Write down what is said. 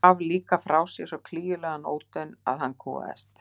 Hún gaf líka frá sér svo klígjulegan ódaun að hann kúgaðist.